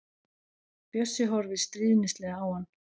Bjössi horfir stríðnislega á hann.